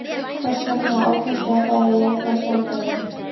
Hvers vegna ákvaðstu að fara í jákvæða sálfræði?